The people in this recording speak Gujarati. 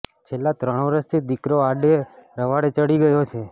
છેલ્લા ત્રણ વર્ષથી દિકરો આડે રવાડે ચડી ગયો છે